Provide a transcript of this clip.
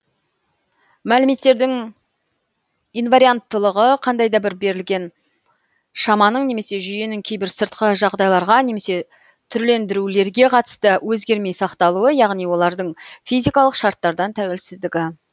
мәліметтердің инварианттылығы қандай да бір берілген шаманың немесе жүйенің кейбір сыртқы жағдайларға немесе түрлендірулерге қатысты өзгермей сақталуы яғни олардың физикалық шарттардан тәуелсіздігі